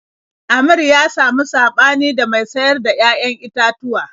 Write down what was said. Amir ya samu saɓani da mai sayar da 'ya'yan itatuwa.